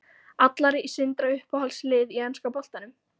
Allar í Sindra Uppáhalds lið í enska boltanum?